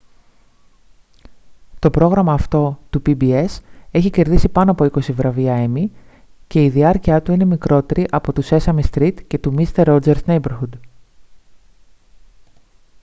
to πρόγραμμα αυτό του pbs έχει κερδίσει πάνω από είκοσι βραβεία emmy και η διάρκειά του είναι μικρότερη από του sesame street και του mister rogers' neighborhood